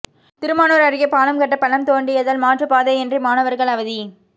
திருமானூர் அருகே பாலம் கட்ட பள்ளம் தோண்டியதால் மாற்றுப்பாதையின்றி மாணவர்கள் அவதி